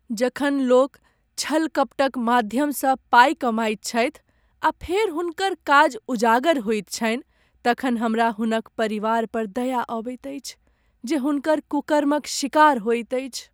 जखन लोक छल कपटक माध्यमसँ पाइ कमाइत छथि आ फेर हुनकर काज उजागर होइत छनि तखन हमरा हुनक परिवार पर दया अबैत अछि जे हुनकर कुकर्मक शिकार होइत अछि।